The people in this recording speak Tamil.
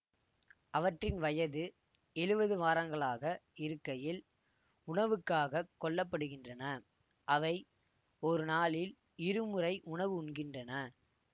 அவற்றின் வயது எழுவது வாரங்களாக இருக்கையில் உணவுக்காக கொல்லப்படுகின்றன அவை ஒரு நாளில் இரு முறை உணவு உண்கின்றன